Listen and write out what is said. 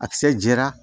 A kisɛ jɛra